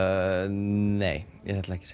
nei ég ætla ekki